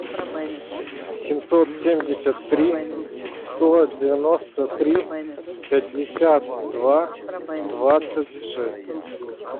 семьсот семьдесят три сто девяносто три пятьдесят два двадцать шесть